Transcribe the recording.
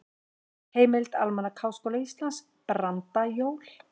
Heimild: Almanak Háskóla Íslands- Brandajól.